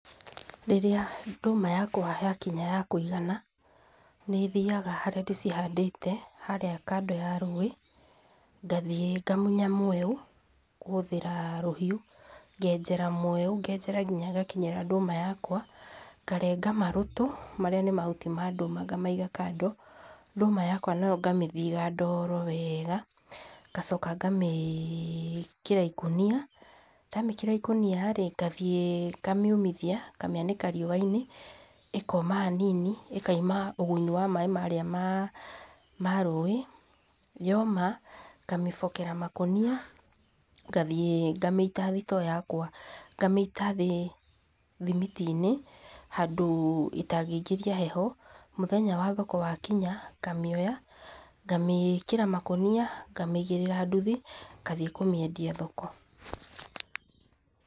Rĩrĩa ndũma yakwa yakinya yakũigana, nĩthiaga harĩa ndĩcihandĩte, harĩa kando ya rũũĩ, ngathiĩ ngamunya mweũ kũhũthĩra rũhiũ, ngenjera mweũ ngenjera nginya ngakinyĩra ndũma yakwa, ngarenga marũtũ, marĩa nĩ mahuti ma ndũma ngamaiga kando, ndũma yakwa nayo ngamĩthiga ndoro wega, ngacoka ngamĩkĩra ikũnia, ndamĩkĩra ikũnia rĩ, ngathiĩ ngamiumĩria, ngamĩanĩka riũwa-inĩ, ĩkoma hanini ĩkauma maaĩ marĩa ma rũũĩ, yoma, ngamĩbokera makũnia-inĩ ngathiĩ ngamĩita thitoo yakwa, ngamĩita thĩ thimiti-inĩ, handũ ĩtangĩingĩria heho, mũthenya wa thoko wakinya ngamĩoya, ngamĩkĩra makũnia, ngamĩigĩrĩra nduthi, ngathiĩ kũmĩendia thoko.